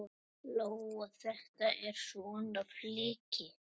Lóa: Þetta er svona flykki?